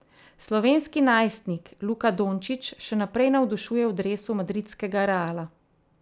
Slovenski najstnik Luka Dončić še naprej navdušuje v dresu madridskega Reala.